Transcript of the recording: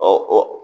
Ɔ o